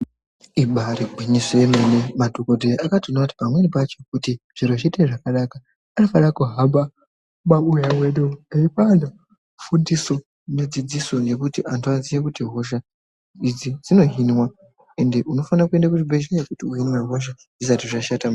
Ibairi ngwinyiso remene madhokodheya akatoona kuti pamweni pacho kuti zviro zviite zvakanaka ano fana kuhamba mu mabuya mwedu eipa antu fundiso ne dzidziso nekuti antu aziye kuti hosha idzi dzino hinwa ende unofana kuenda ku chi bhedhlera uhinwe hosha zvisati zvashata.